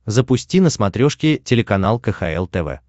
запусти на смотрешке телеканал кхл тв